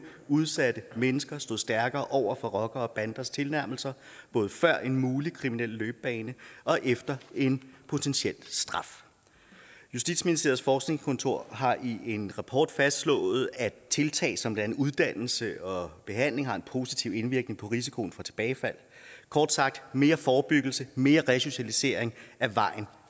udsatte mennesker stod stærkere over for rockere og banders tilnærmelser både før en mulig kriminel løbebane og efter en potentiel straf justitsministeriets forskningskontor har i en rapport fastslået at tiltag som blandt andet uddannelse og behandling har en positiv indvirkning på risikoen for tilbagefald kort sagt mere forebyggelse mere resocialisering er vejen